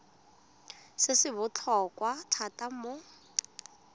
se se botlhokwa thata mo